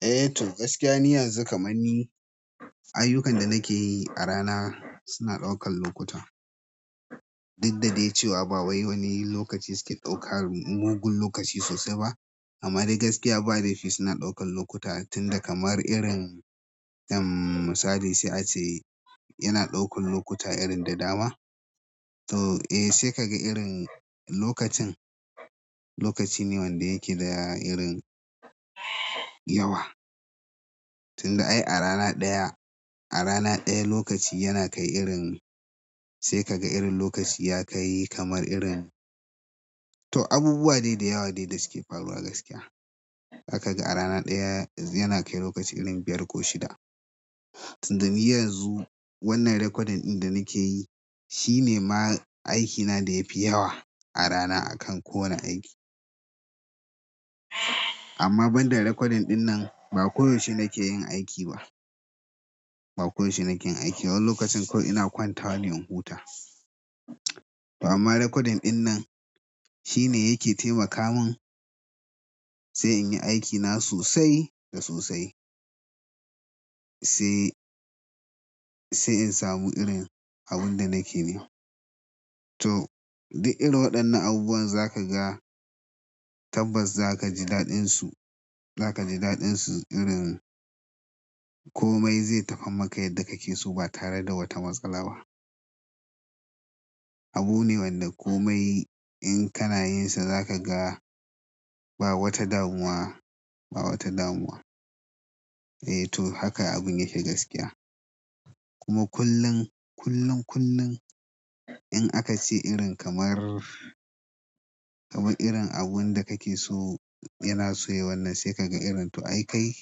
Eh to gaskiya ni yanzu kamar ni ayyukan da nikeyi a rana suna ɗaukar lokuta duk da dai cewa ba wai wani lokaci suke ɗaukar mugun lokaci sosai ba. Amma dai gaskiya ba laifi suna ɗaukar lokuta tunda kamar irin misali sai ace yana ɗaukar lokuta irin da dama to eh sai kaga irin lokacin, lokacine wanda yake da irin yawa. Tun da ai a rana ɗaya, a rana ɗaya lokaci yana kai irin, sai kaga irin lokaci ya kai kamar irin. To abubuwa dai dayawa dai da suke faruwa gaskiya. Zakaga a rana ɗaya yana kai lokaci irin biyar ko shida tun da ni yanzu wannan recording ɗin da nake yi shine ma aikina da ya fi yawa a rana akan kowane aiki. Amma banda recording ɗin nan ba koyaushe nake yin aiki ba. Ba koyaushe nake yin aiki ba. Wani lokacin kawai ina kwantawa ne in huta. Amma recording ɗin nan shine yake taimaka min, sai in yi aikina sosai da sosai. Sai, sai in samu irin abun da nake nema. To duk irin waɗannan abubuwan za ka ga tabbas za ka ji daɗinsu. Za ka ji daɗinsu irin komai zai tafi maka yadda kake so ba tare da wata matsala ba. Abu ne wanda komai in kana yin sa za ka ga ba wata damuwa, ba wata damuwa. Eh to haka abin yake gaskiya. Kuma kullum, kullum, kullum in aka ce irin kamar, kamar irin abun da kake so yana so yayi wannan sai ka ga irin to ai kai,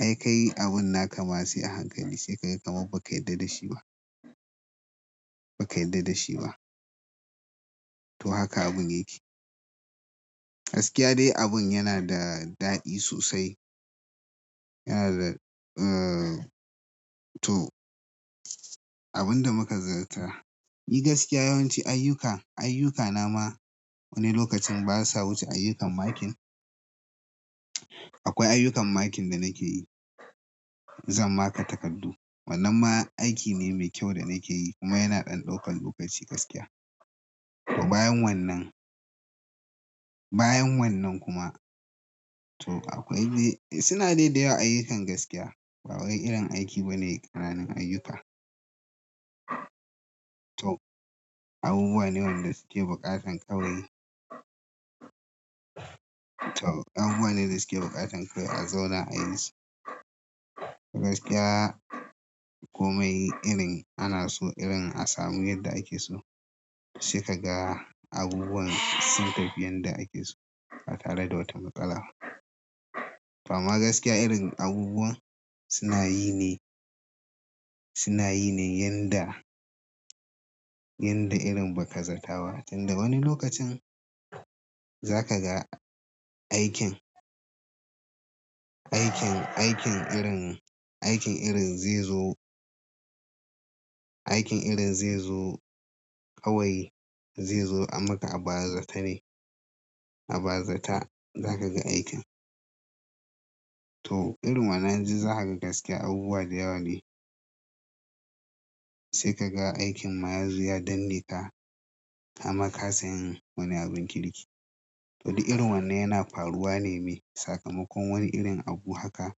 ai kai abun naka ma sai a hankali sai ka ga kamar ba ka yarda da shi ba. Ba ka yarda da shi ba. To haka abun yake. Gaskiya dai abin yana da daɗi sosai. Yana da, eh to abinda muka zata. Ni gaskiya yawanci ayyuka, ayyukana ma wani lokacin basa wuce ayyukan makin. Akwai ayyukan makin da nake yi. Zan marker takardu. Wannan ma aiki ne mai kyau da nake yi kuma yana ɗan ɗaukan lokaci gaskiya. Bayan wannan, bayan wannan kuma to akwai dai, suna dai dayawa ayyukan gaskiya. Ba wai irin aiki bane ƙananan ayyuka. To abubuwa ne waɗanda suke buƙatan kawai to abubuwa ne da suke buƙatan kawai a zauna a yi su. Gaskiya komai irin ana so irin a samu yadda ake so. Sai kaga abubuwan sun tafi yadda ake so, ba tare da wata matsala ba. Amma gaskiya irin abubuwan suna yi ne, suna yi ne yanda, yanda irin ba ka zataba. Tun da wani lokacin za ka ga aikin, aikin, aikin irin, aikin irin zai zo, aikin irin zai zo kawai zai zo a maka a bazata ne. A bazata za ka ga aikin. To irin wannan duk zakaga gaskiya abubuwa da yawa ne. Sai ka ga aikin ma yazo ya danneka, kama kasa yin wani abin kirki. To duk irin wannan yana faruwa ne mai sakamakon wani irin abu haka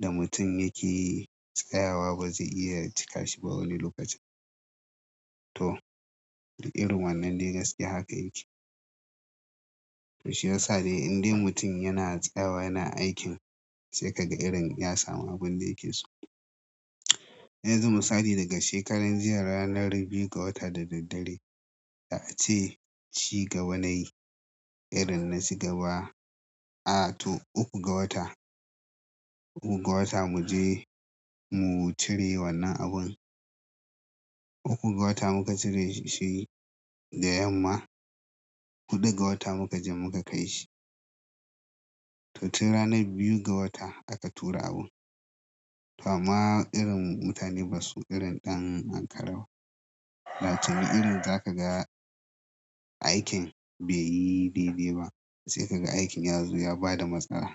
da mutum yake tsayawa ba zai iya cika shi ba wani lokacin. To, duk irin wannan dai gaskiya haka yake. To shi yasa dai indai mutum yana tsayawa yana aikin sai ka ga irin ya samu abinda yake so. Yanzu misali daga shekarar jiya ranar biyu ga wata da daddare da ace ci gaba nayi, irin na ci gaba. A to ukku ga wata, ukku ga wata mu je mu cire wannan abun. Ukkun ga wata muka cire shi, da yamma, huɗu ga wata muka je muka kaishi. To tun ranar biyu ga wata aka tura abin. To amma irin mutane basu irin ɗan ankara ba wato ne irin zakaga aikin bai yi dai-dai ba sai ka ga aikin ya zo ya bada matsala.